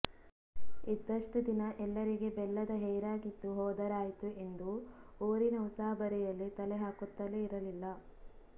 ಇದ್ದಷ್ಟು ದಿನ ಎಲ್ಲರಿಗೆ ಬೆಲ್ಲದ ಹೇರಾಗಿದ್ದು ಹೋದರಾಯಿತು ಎಂದು ಊರಿನ ಉಸಾಬರಿಯಲ್ಲಿ ತಲೆಹಾಕುತ್ತಲೇ ಇರಲಿಲ್ಲ